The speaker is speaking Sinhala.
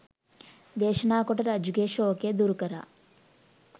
දේශනා කොට රජුගේ ශෝකය දුරු කළා.